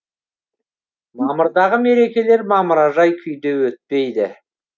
мамырдағы мерекелер мамыражай күйде өтпейді